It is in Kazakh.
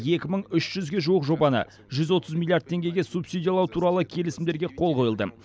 екі мың үш жүзге жуық жобаны жүз отыз миллиард теңгеге субсидиялау туралы келісімдерге қол қойылды